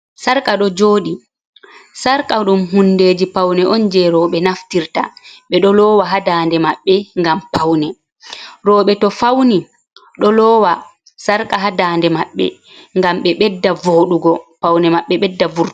Sarka ɗo jooɗi, sarka ɗum hundeji paune on je roɓe naftirta, ɓe ɗo loowa ha dande maɓbe ngam paune, roɓe to fauni ɗo loowa sarka ha dande maɓɓe ngam ɓe ɓedda vooɗugo paune maɓɓe ɓedda vurtugo.